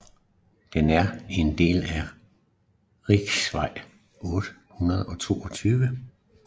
Den er en del af riksvej 822